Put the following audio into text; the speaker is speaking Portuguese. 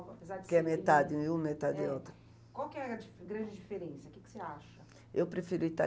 apesar de ser... Que é metade uma e metade outra. É. Qual que é a di grande diferença, o que você acha? Eu prefiro ita